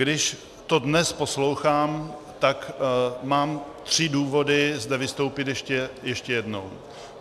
Když to dnes poslouchám, tak mám tři důvody zde vystoupit ještě jednou.